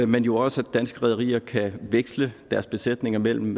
men jo også at danske rederier kan veksle deres besætninger mellem